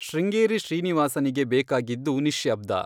ಶೃಂಗೇರಿ ಶ್ರೀನಿವಾಸನಿಗೆ ಬೇಕಾಗಿದ್ದು ನಿಶ್ಯಬ್ದ.